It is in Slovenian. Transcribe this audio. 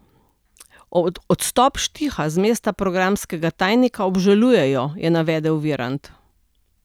Odstop Štiha z mesta programskega tajnika obžalujejo, je navedel Virant.